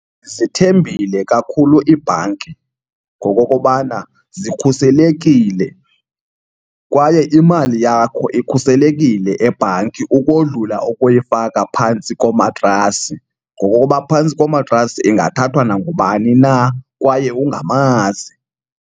Zithembile kakhulu ibhanki ngokokubana zikhuselekile kwaye imali yakho ikhuselekile ebhanki ukodlula ukuyifaka phantsi komatrasi ngokokuba phantsi komatrasi ingathathwa nangubani na kwaye ungamazi.